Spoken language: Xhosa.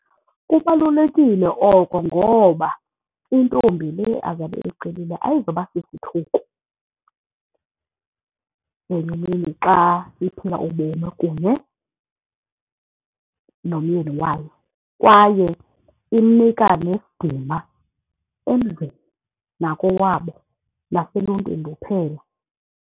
Kubalulekile oko ngoba intombi le azabe eyicelile ayizuba sisithuko ngenye imini xa iphila ubomi kunye nomyeni wayo kwaye imnika nesidima endlini nakowabo naseluntwini luphela.